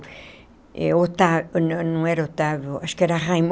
Eh Otávio não não era Otávio, acho que era